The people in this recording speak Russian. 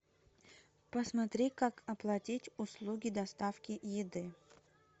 посмотри как оплатить услуги доставки еды